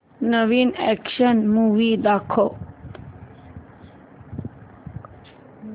नवीन action movie दाखव